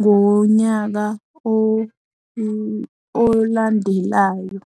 ngonyaka olandelayo.